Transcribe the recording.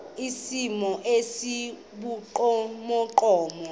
esithomo esi sibugqomogqomo